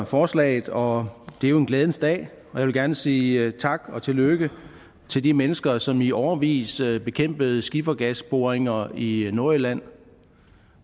forslaget og det er jo en glædens dag jeg vil gerne sige tak og tillykke til de mennesker som i årevis bekæmpede skifergasboringer i nordjylland